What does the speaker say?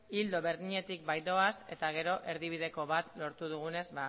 ildo berdinetik baitoaz eta gero erdibideko bat lortu dugunez